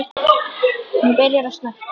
Hún byrjar að snökta.